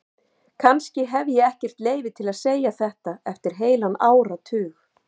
Kannski hef ég ekkert leyfi til að segja þetta eftir heilan áratug.